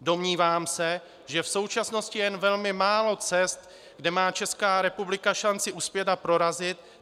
Domnívám se, že v současnosti jen velmi málo cest, kde má Česká republika šanci uspět a prorazit.